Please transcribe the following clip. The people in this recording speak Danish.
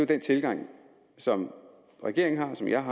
den tilgang som regeringen har og som jeg